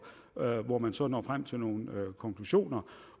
hvor man så når frem til nogle konklusioner